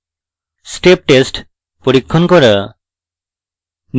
step test পরীক্ষণ করা